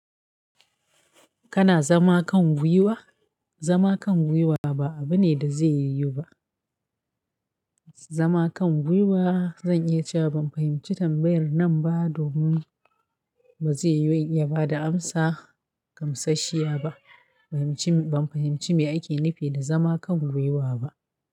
Kana zama kan gwiwa? Zama kan gwiwa ba abu ne da zai yiwu ba. Zama kan gwiwa, zan iya cewa ban fahimci tambayar nan ba domin ba zai yiwu in iya bada amsa gamsashiya ba. Ban fahimci me ake nufi da zama kan gwiwa ba.